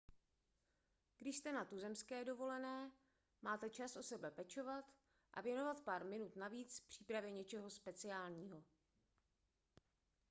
když jste na tuzemské dovolené máte čas o sebe pečovat a věnovat pár minut navíc přípravě něčeho speciálního